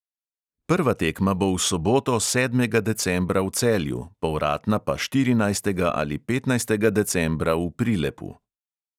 Prva tekma bo v soboto, sedmega decembra, v celju, povratna pa štirinajstega ali petnajstega decembra v prilepu.